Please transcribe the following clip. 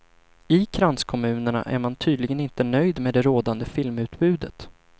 I kranskommunerna är man tydligen inte nöjd med det rådande filmutbudet.